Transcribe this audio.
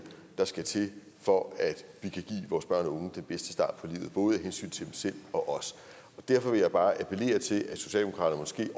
der skal til for at vi kan give vores børn og unge den bedste start på livet både af hensyn til dem selv og os derfor vil jeg bare appellere til at socialdemokratiet